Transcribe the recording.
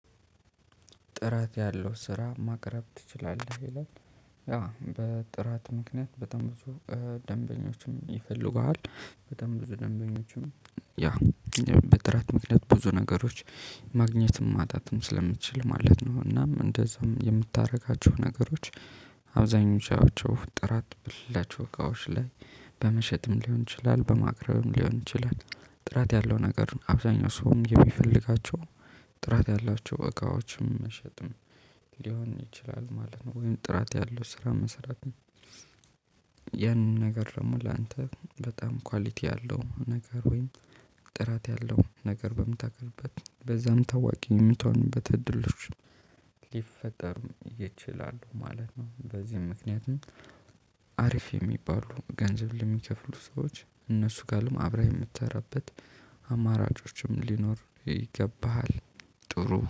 ጥራት ያለው ስራ ማቅረብ ትችላለህ ይላል? ያ በጥራት ምክንያት በጣም ብዙ ደንበኞችን ይፈልጉሃል በጣም ብዙ ደንበኞችን ያ በጥራት ምክንያት ብዙ ነገሮች ማግኘትም ማጣትም ስለምትችል ማለት ነው። እናም እንደዛም የምታደርጋቸው ነገሮች አብዛኞቻቸው ጥራት ብላችሁ እቃዎች ላይ በመሸጥም ሊሆን ይችላል በማቅረብም ሊሆን ይችላል። ጥራት ያለው ነገር አብዛኛው ሰውም የሚፈልጋቸው ጥራት ያላቸው እቃዎችም መሸጥም ሊሆን ይችላል ማለት ነው። ወይም ጥራት ያለው ስራ መሰራት። ያን ነገር ደግሞ ላንተ በጣም ኳሊቲ ያለው ነገር ወይም ጥራት ያለው ነገር በምታቀርብበት በዛም ታዋቂ የምትሆንበት እድሎች ሊፈጠር ይችላሉ ማለት ነው። በዚህም ምክንያትም አሪፍ የሚባሉ ገንዘብ ለሚከፍሉ ሰዎች እነሱ ጋርም አብረህ የምትሰራበት አማራጮችም ሊኖር ይገባሃል። ጥሩ